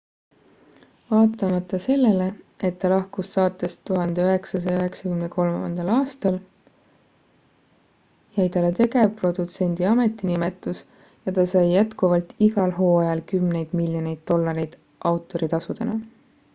vaatamata sellele et ta lahkus saatest 1993 aastal jäi talle tegevprodutsendi ametinimetus ja ta sai jätkuvalt igal hooajal kümneid miljoneid dollareid autoritasudena